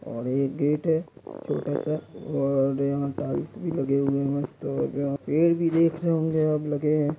और ये गेट है छोटा सा और यहाँ टाइल्स भी लगे हुए मस्त हैं पेड़ भी देख रहे होंगे अब लगे है।